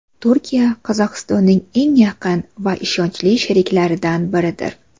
Turkiya Qozog‘istonning eng yaqin va ishonchli sheriklaridan biridir.